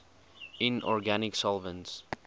inorganic solvents